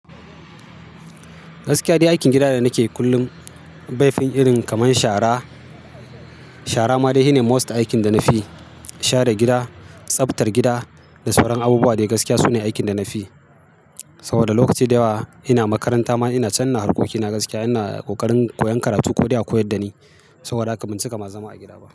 Gaskiya dai aikin gida da nakeyi kullum, baifin irin kaman shara. Shara ma dai shi ne most aikin da na fi yi. Share gida, tsaftar gida da sauran abubuwa dai gaskiya su ne aikin da na fi yi. To da lokaci da yawa ina makaranta ma ina can, ina harkoki, na gaskiya ina ƙoƙarin koyan karatu ko dai a koyar da ni. Saboda haka ban cika ma zama a gida ba.